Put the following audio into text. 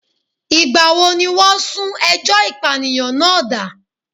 Ìgbà wo ni wọ́n sún ẹjọ́ ìpànìyàn náà dà?